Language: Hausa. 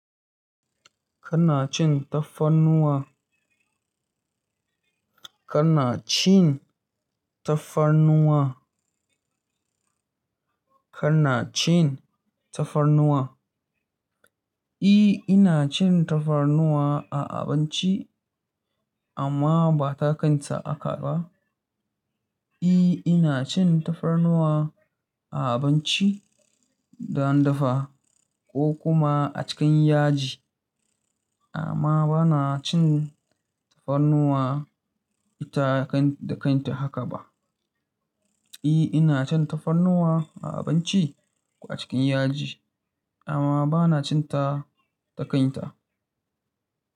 Ka na cin tafarnuwa? Kana cin tafarnuwa? Kana cin tafarnuwa? E, ina cin tafarnuwa a abinci amma ba ta kanta haka ba. E, ina cin tafarnuwa a abinci dan dafa ko kuma a cikin yaji, amma ba na cin tafarnuwa ita da kanta haka ba. E, ina cin tafarnuwa a abinci ko a cikin yaji, amma bana cin ta da kanta.